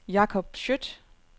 Jakob Skjødt